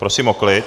Prosím o klid.